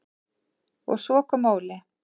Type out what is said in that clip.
Og svo kom Óli.